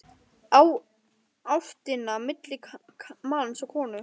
Á ástina milli manns og konu.